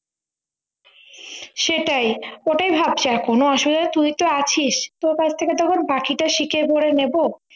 সেটাই ওটাই ভাবছি এখন আসলে তুই তো আছিস তো তোর থেকে তখন বাকিটা শিখে পরে নেবো